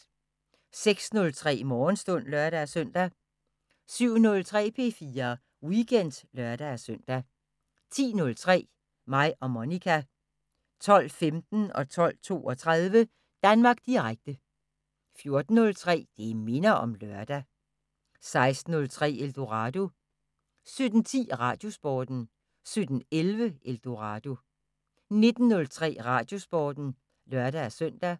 06:03: Morgenstund (lør-søn) 07:03: P4 Weekend (lør-søn) 10:03: Mig og Monica 12:15: Danmark Direkte 12:32: Danmark Direkte 14:03: Det minder om lørdag 16:03: Eldorado 17:10: Radiosporten 17:11: Eldorado 19:03: Radiosporten (lør-søn)